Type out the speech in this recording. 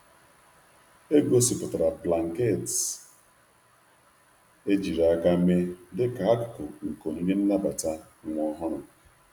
E gosipụtara blanketị ejiri aka mee dịka akụkụ nke onyinye nnabata nwa ọhụrụ.